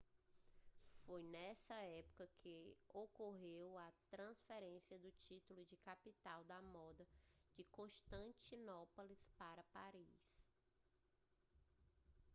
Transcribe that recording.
foi nessa época que ocorreu a transferência do título de capital da moda de constantinopla para paris